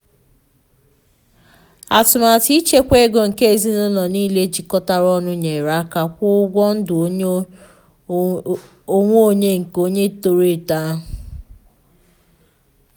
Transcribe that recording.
atụmatụ ịchekwa ego nke ezinụlọ niile jikọtara ọnụ nyere aka kwụọ ụgwọ ndụ onwe onye nke onye toro eto ahụ.